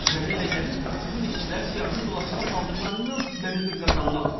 Mənə elə gəlir, sizin işçilər siyahını dolaşığa saldıqlarından məni qır qazana atıblar.